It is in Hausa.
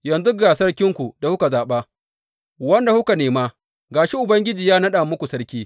Yanzu ga sarkinku da kuka zaɓa wanda kuka nema, ga shi Ubangiji ya naɗa muku sarki.